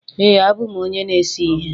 Ee, abụ m onye na-ese ihe